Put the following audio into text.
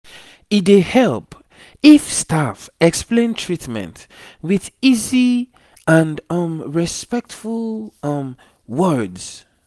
e dey help if staff explain treatment with easy and um respectful um words